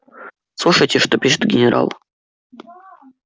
слушайте что пишет генерал